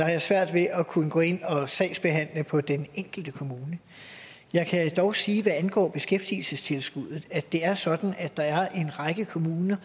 jeg svært ved at kunne gå ind og sagsbehandle på den enkelte kommune jeg kan dog sige hvad angår beskæftigelsestilskuddet at det er sådan at der er en række kommuner